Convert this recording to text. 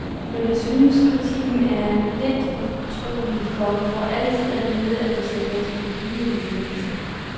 Men jeg synes kritikken er lidt utrolig, for vi får altid at vide, at vi sælger til uhyrlige priser.